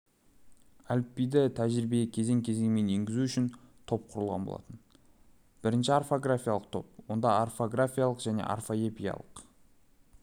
әліпбиді тәжірибеге кезең-кезеңмен енгізу үшін топ құрылған болатын бірінші орфографиялық топ онда орфографиялық және орфоэпиялық